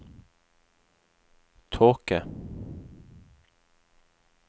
tåke